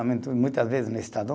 Muitas vezes no Estadão.